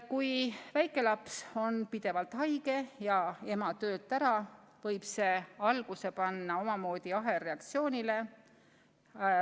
Kui väikelaps on pidevalt haige ja ema töölt ära, võib see alguse panna omamoodi ahelreaktsioonile.